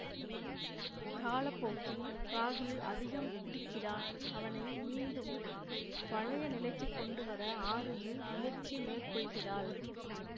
காலப்போக்கில் ராகுல் அதிகம் குடிக்கிறான் அவனை மீண்டும் பழைய நிலைக்கு கொண்டுவர ஆரூகி முயற்சி மேற்கொள்கிறாள்